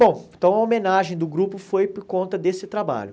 Bom, então a homenagem do grupo foi por conta desse trabalho.